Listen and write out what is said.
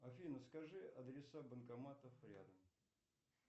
афина скажи адреса банкоматов рядом